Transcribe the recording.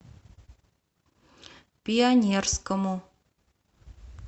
пионерскому